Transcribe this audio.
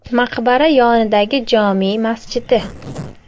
Maqbara yonidagi jome masjidi.